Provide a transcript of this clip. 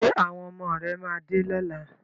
Ṣé àwọn ọmọ rẹ máa dé lọ́la?